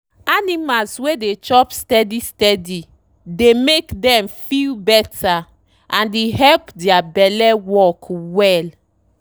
animal wey dey chop steady steady dey make dem feel better and e help their belle work well.